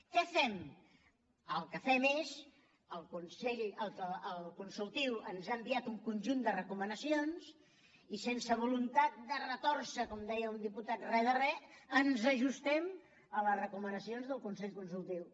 què fem el que fem és el consultiu ens ha enviat un conjunt de recomanacions i sense voluntat de retòrcer com deia un diputat re de re ens ajustem a les recomanacions del consell consultiu